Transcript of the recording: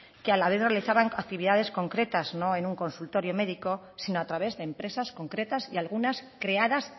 que a la vez realizaban actividades concretas no en un consultorio médico sino a través de empresas concretas y algunas creadas